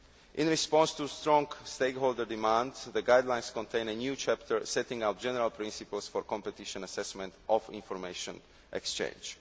In response to strong stakeholder demand, the guidelines contain a new chapter setting out general principles for competition assessment of information exchange.